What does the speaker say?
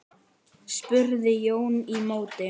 spurði Jón í móti.